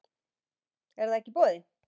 En það er ekki í boði